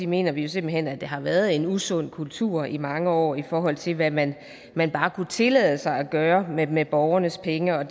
mener vi jo simpelt hen at der har været en usund kultur i mange år i forhold til hvad man man bare kunne tillade sig at gøre med borgernes penge og